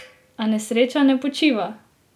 A nesreča ne počiva!